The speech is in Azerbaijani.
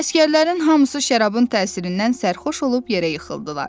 Əsgərlərin hamısı şərabın təsirindən sərxoş olub yerə yıxıldılar.